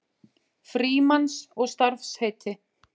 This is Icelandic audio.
Frímanns og starfsheiti.